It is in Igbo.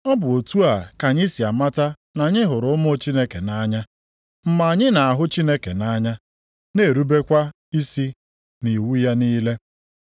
Ọ bụ otu a ka anyị si amata na anyị hụrụ ụmụ Chineke nʼanya, mgbe anyị na-ahụ Chineke nʼanya, na-erubekwa isi nʼiwu ya niile.